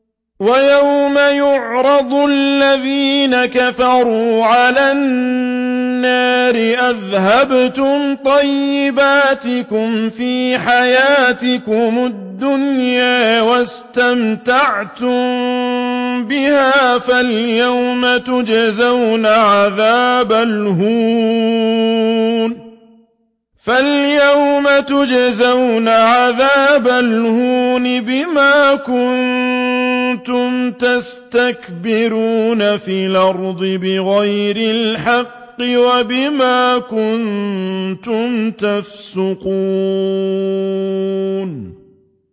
وَيَوْمَ يُعْرَضُ الَّذِينَ كَفَرُوا عَلَى النَّارِ أَذْهَبْتُمْ طَيِّبَاتِكُمْ فِي حَيَاتِكُمُ الدُّنْيَا وَاسْتَمْتَعْتُم بِهَا فَالْيَوْمَ تُجْزَوْنَ عَذَابَ الْهُونِ بِمَا كُنتُمْ تَسْتَكْبِرُونَ فِي الْأَرْضِ بِغَيْرِ الْحَقِّ وَبِمَا كُنتُمْ تَفْسُقُونَ